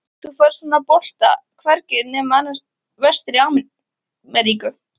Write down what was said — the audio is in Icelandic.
Þú færð svona bolta hvergi nema vestur í Ameríku.